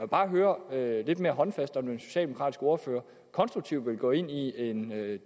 bare høre det lidt mere håndfast om den socialdemokratiske ordfører konstruktivt vil gå ind i en